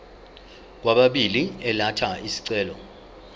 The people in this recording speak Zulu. kwababili elatha isicelo